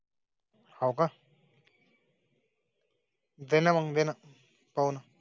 ओह का? णे पाऊण.